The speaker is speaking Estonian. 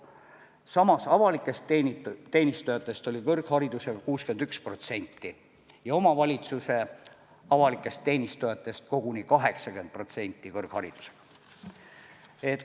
Samas avalikest teenistujatest oli kõrgharidusega 61% ja omavalitsuse avalikest teenistujatest koguni 80%.